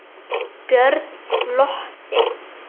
Björn glotti.